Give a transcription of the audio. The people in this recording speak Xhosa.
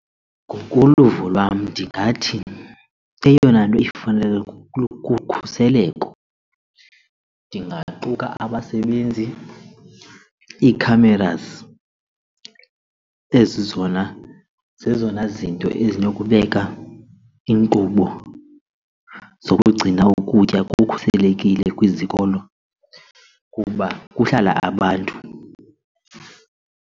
Ngokoluvo lwam ndingathi eyona nto ifanele kukhuseleko ndingaquka abasebenzi, ii-cameras ezi zona zezona zinto ezinokubeka iinkqubo zokugcina ukutya kukhuselekile kwizikolo kuba kuhlala abantu.